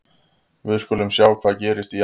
Við skulum sjá hvað gerist í janúar og febrúar.